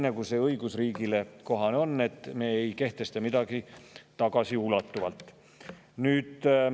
See on õigusriigile kohane, et me ei kehtesta midagi tagasiulatuvalt.